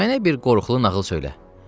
mənə bir qorxulu nağıl söylə.”